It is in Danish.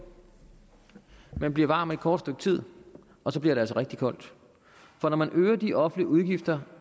man bliver varm et kort stykke tid og så bliver det altså rigtig koldt for når man øger de offentlige udgifter